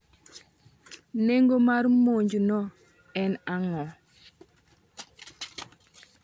Neng'o mar monjno e ang'o.